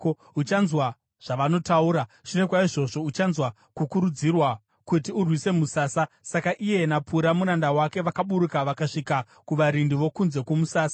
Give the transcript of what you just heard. Uchanzwa zvavanotaura. Shure kwaizvozvo uchanzwa kukurudzirwa kuti urwise musasa.” Saka iye naPura muranda wake vakaburuka vakasvika kuvarindi vokunze kwomusasa.